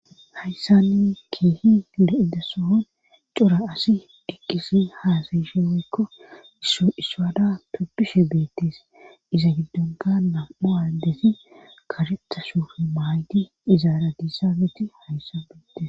hayssanni keehi le7idasohon cura asi eqqisi haasayisheoykko siswada toppishe beettes iza giddonka nam7o addesi karettasuf maayti izaara diissameti hayssan beettes